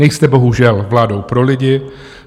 Nejste bohužel vládou pro lidi.